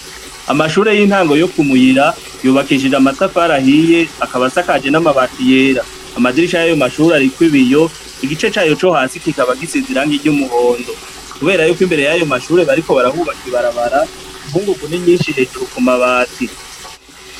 Amashure y'intango yo ku murira yubakishijwe amatafari ahiye akaba asakajwe n'amabati yera, amadirisha yo kurayo mashure ariko ibiyo igice cayo co hasi kikaba gisize irangi ry'umuhondo, kubera ko kurayo mashure bariko barahubaka ibarabara inkungungu ni nyinshi ku mabati.